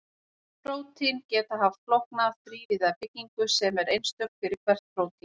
Prótín geta haft flókna þrívíða byggingu sem er einstök fyrir hvert prótín.